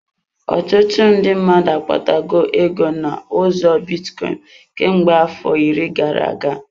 Ọtụtụ ndị mmadụ akpata go ego n'ụzọ bitcoin, kemgbe afọ iri gara-aga.